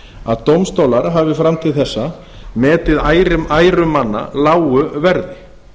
að dómstólar hafi fram til þessa metið æru manna lágu verði